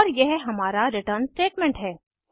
और यह हमारा रिटर्न स्टेटमेंट है